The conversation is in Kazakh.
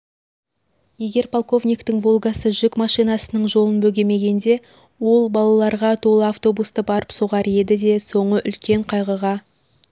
егер полковниктің волгасы жүк машинасының жолын бөгемегенде ол балаларға толы автобусты барып соғар еді де соңы үлкен қайғыға